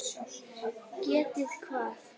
Getið hvað?